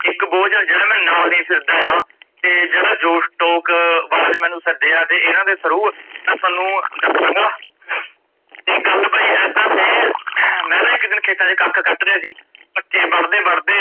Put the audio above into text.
ਇੱਕ ਬੋਝ ਆ ਜੇੜਾ ਮੈ ਨਾਲ ਲਈ ਫਿਰਦਾ ਆ, ਤੇ ਜੇੜਾ ਜੋਸ਼ ਟੋਕ ਵਾਲਿਆ ਮੈਂਨੂੰ ਸੱਦਿਆ ਤੇ ਏਨਾ ਦੇ through ਮੈ ਤੁਹਾਨੂੰ ਦੱਸਾਂਗਾ, ਤੇ ਗੱਲ ਬਾਈ ਏਦਾ ਫੇਰ ਮੈ ਨਾਂ ਇੱਕ ਦਿਨ ਖੇਤਾਂ ਚ ਕੱਖ ਕੱਟ ਰੀਆ ਸੀ, ਪੱਠੇ ਵਡਦੇ ਵਡਦੇ,